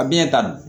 A bi ɲɛ tan